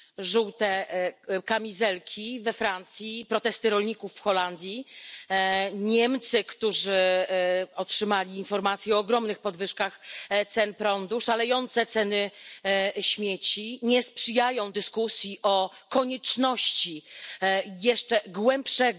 Żółte kamizelki we Francji, protesty rolników w Holandii, Niemcy, którzy otrzymali informację o ogromnych podwyżkach cen prądu, szalejące ceny śmieci nie sprzyjają dyskusji o konieczności jeszcze głębszego